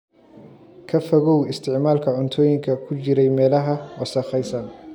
Ka fogow isticmaalka cuntooyinka ku jiray meelaha wasakhaysan.